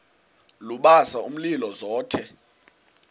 lubasa umlilo zothe